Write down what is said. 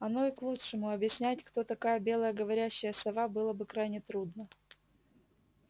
оно и к лучшему объяснять кто такая белая говорящая сова было бы крайне трудно